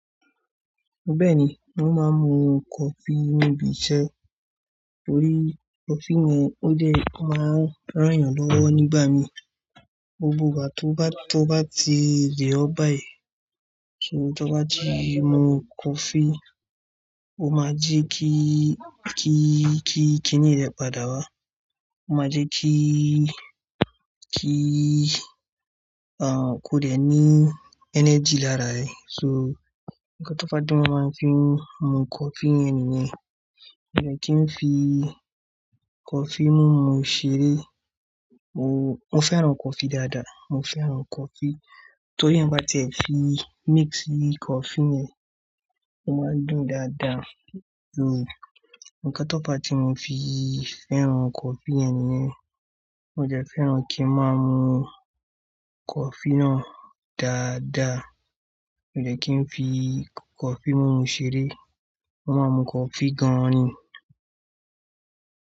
Bẹ́ẹ̀ni, mo máa ń mu coffee níbi iṣẹ́. Torí coffee ni, ó jẹ́ o máa ń ràn yàn lọ́wọ́ nígbà mi. Gbogbo ìgbà tó bá, tó bá ti rẹ̀ ọ́ báyìí kíni tó bá ti mu coffee, o máa jẹ́ kí, kí, kí, kí ni rẹ padà wá. O máa jẹ́ kí, kí, à kó dẹ́ ní energy lára rẹ. So, nkán tó bá fa di, mo máa ń fi mu coffee yẹn ni yẹn. Mi ò kí n fi coffee mú mu ṣeré. Mo, mo fẹ́ràn coffee dáadáa. Mo fẹ́ràn coffee torí tí ẹ̀èyàn bá ti fi mix coffee yẹn, ó máa ń dùn dáadáa. Hmm, nkán tó fá ti mo fi fẹ́ràn coffee yẹn ni yẹn. Mo dẹ̀ fẹ́ràn kí n máa mu coffee náà dáadáa. Mi ò kí n fi coffee mú mu ṣeré. Mo máa ń mu cofee gan an ni.